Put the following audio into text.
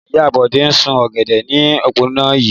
Ìyá Bọ́lá ń sún ọ̀gẹ̀dẹ̀ ní òpópónà yìí.